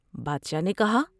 بادشاہ نے کہا ۔